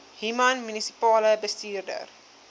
human munisipale bestuurder